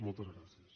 moltes gràcies